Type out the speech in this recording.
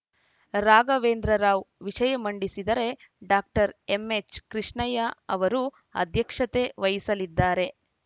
ರಾಘವೇಂದ್ರ ರಾವ್‌ ವಿಷಯ ಮಂಡಿಸಿದರೆ doctor M H Krishnaiah ಅವರು ಅಧ್ಯಕ್ಷತೆ ವಹಿಸಲಿದ್ದಾರೆ